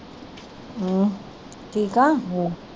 ਅਹ ਠੀਕ ਆ